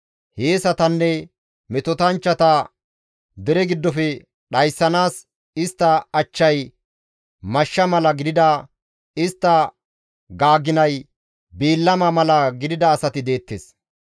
Hiyeesatanne metotanchchata dere giddofe dhayssanaas istta achchay mashsha mala gidida istta gaaginay biillama mala gidida asati deettes.